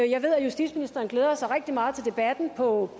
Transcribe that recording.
jeg ved at justitsministeren glæder sig rigtig meget til debatten på